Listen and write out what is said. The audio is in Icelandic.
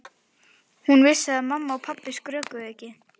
Hún vissi að mamma og pabbi skrökvuðu ekki.